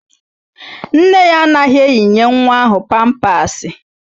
Nne ya anaghị eyinye nwa ahụ pampasị